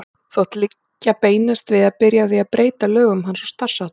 Þótti liggja beinast við að byrja á því að breyta lögum hans og starfsháttum.